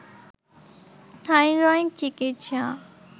thyroid চিকিৎসা